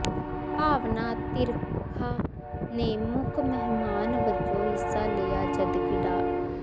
ਭਾਵਨਾ ਤਿਰਖਾ ਨੇ ਮੁੱਖ ਮਹਿਮਾਨ ਵਜੋਂ ਹਿੱਸਾ ਲਿਆ ਜਦਕਿ ਡਾ